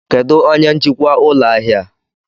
Kedụ onye njikwa ụlọ ahịa a?